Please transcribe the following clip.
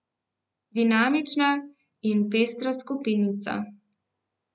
Dinamična in pestra skupinica.